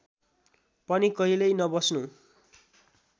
पनि कहिल्यै नबस्नू